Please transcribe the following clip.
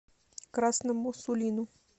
красному сулину